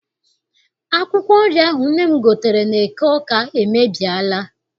Akwụkwọ nri ahụ nne m gotere n'eke Awka emebiela.